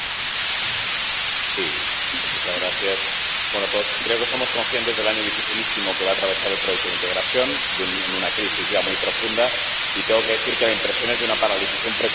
Señora presidenta, creo que somos conscientes del año dificilísimo que va atravesar el proyecto de integración, en una crisis ya muy profunda, y tengo que decir que la impresión es de una paralización preocupante de las instituciones.